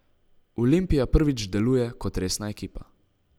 Olimpija prvič deluje kot resna ekipa.